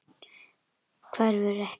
Hverfur ekki.